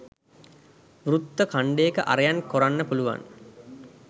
වෘත්ත ඛන්ඩයක අරයන් කොරන්න පුලුවන්